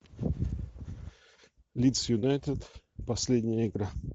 лиц юнайтед последняя игра